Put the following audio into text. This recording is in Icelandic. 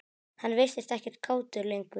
Hann virtist ekkert kátur lengur.